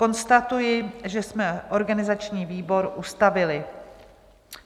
Konstatuji, že jsme organizační výbor ustavili.